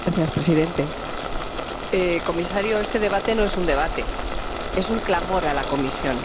Señor Presidente, señor Comisario. Este debate no es un debate, es un clamor a la Comisión.